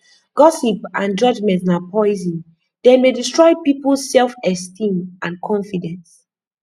gossip and judgment na poison dem dey destroy peoples selfesteem and confidence